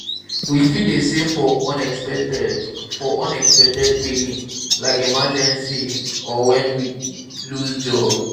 we fit dey save for unexpected for unexpected billing like medical emergency or when we lose job